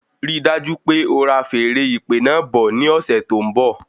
Rí dájú pé ora feèrè ìpè náà bọ̀ ní ọsẹ tó n bọ